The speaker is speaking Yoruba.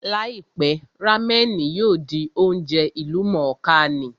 Láìpẹ́, rámẹ̀nì yóò di oúnjẹ ìlú mọ̀ọ́ kà ní